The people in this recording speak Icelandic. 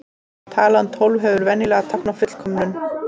Talan tólf hefur venjulega táknað fullkomnum.